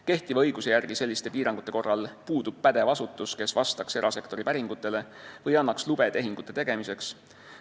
Kehtiva õiguse järgi puudub selliste piirangute korral pädev asutus, kes vastaks erasektori päringutele või annaks lube tehingute tegemiseks.